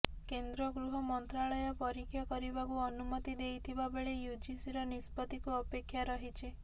କେନ୍ଦ୍ର ଗୃହ ମନ୍ତ୍ରାଳୟ ପରୀକ୍ଷା କରିବାକୁ ଅନୁମତି ଦେଇଥିବା ବେଳେ ୟୁଜିସିର ନିଷ୍ପତ୍ତିକୁ ଅପେକ୍ଷା ରହିଛି